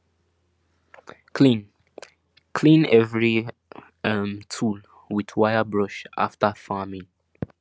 clean clean every um tool with wire brush after farming